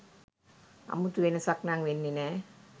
අමුතු වෙනසක් නං වෙන්නෙ නෑ